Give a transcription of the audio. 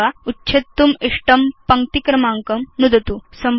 अथवा उच्छेत्तुम् इष्टं पङ्क्ति क्रमाङ्कं नुदतु